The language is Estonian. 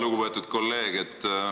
Lugupeetud kolleeg!